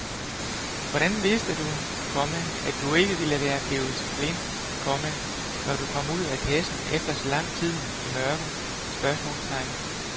Hvordan vidste du, komma at du ikke ville være blevet blind, komma når du kom ud af kassen efter så lang tid i mørke? spørgsmålstegn